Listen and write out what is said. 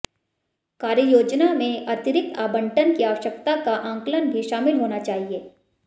कार्ययोजना में अतिरिक्त आबंटन की आवश्यकता का आंकलन भी शामिल होना चाहिए